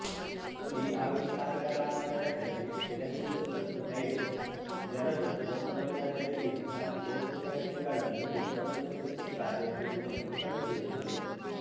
ಈ ಆವಿಷ್ಕಾರಗಳ ಆಧಾರದಲ್ಲಿ ಸಿನಾಸ್ಯುರ್ ಮತ್ತು ಟೈಡೆನ್ಸ್ ಜನರು ಕೋಪಗೊಳ್ಳದರಿಗಿಂತ ಕೋಪಿತ ವ್ಯಕ್ತಿಗಳನ್ನು ಹೆಚ್ಚು ಅನುಮೋದಿಸುತ್ತಾರೆ ಎಂಬುದನ್ನು ಕಂಡುಹಿಡಿದರು